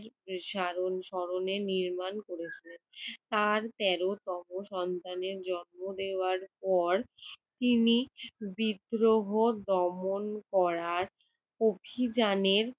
সারণ~ স্মরণে নির্মাণ করেছিলেন। তার তেরোতম সন্তানের জন্ম দেওয়ার পর তিনি বিদ্রোহ দমন করার অভিযানের